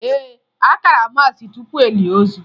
Ee, a kara maasị tupu e lie ozu